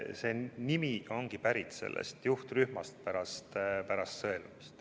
See nimi ongi pärit sellest juhtrühmast, see jäi alles pärast sõelumist.